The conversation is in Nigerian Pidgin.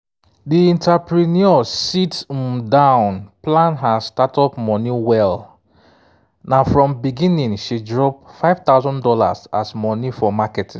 di entrepreneur sit um down plan her startup money wel na from beginning she drop five thousand dollars as money for marketing